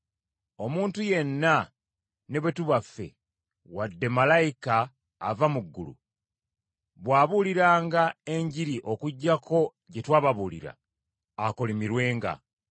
Omuntu yenna, ne bwe tuba ffe, wadde malayika ava mu ggulu, bw’abuuliranga Enjiri okuggyako gye twababuulira, akolimirwenga.